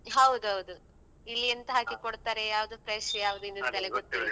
ಹೌದೌದು ಇಲ್ಲಿ ಎಂಥ ಹಾಕಿ ಕೊಡ್ತಾರೆ ಯಾವ್ದು fresh ಯಾವ್ದು ಇದು ಅಂತಲೇ ಗೊತ್ತಿರುದಿಲ್ಲ.